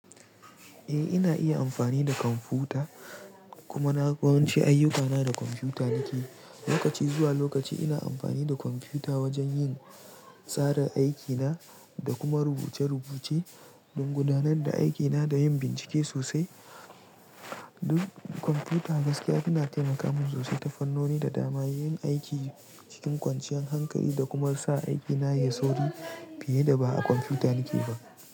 Eh, ina iya amfani da kwamfuta kuma naga yawanci ayyukana da kwamfuta nake. Lokaci zuwa lokaci ina amfani da kwamfuta wajen yin tsarin aikina da kuma rubuce-rubuce don gudanar da aikina da yin bincike sosai. Kwamfuta gaskiya tana taimaka min sosai ta fannoni da dama, yin aiki cikin kwanciyan hankali da kuma sa aikina yayi sauri fiye da ba a kwamfuta nake ba.